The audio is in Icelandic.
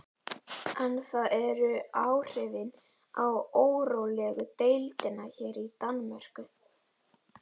En það eru áhrifin á órólegu deildina hér í Danmörku.